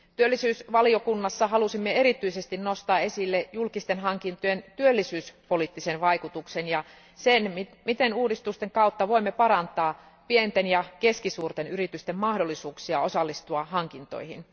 Työllisyys ja sosiaalivaliokunnassa halusimme erityisesti nostaa esille julkisten hankintojen työllisyyspoliittisen vaikutuksen ja sen, miten uudistusten kautta voimme parantaa pienten ja keskisuurten yritysten mahdollisuuksia osallistua hankintoihin.